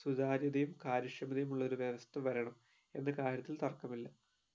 സുധാര്യതയും കാര്യക്ഷമതയും ഉള്ള വ്യവസ്ഥ വരണം എന്ന കാര്യത്തിൽ തർക്കമില്ല